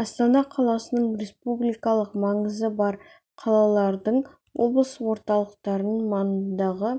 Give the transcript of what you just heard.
астана қаласының республикалық маңызы бар қалалардың облыс орталықтарының маңындағы